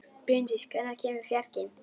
Bryndís, hvenær kemur fjarkinn?